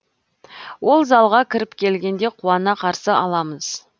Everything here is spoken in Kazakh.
ол залға кіріп келгенде қуана қарсы аламыз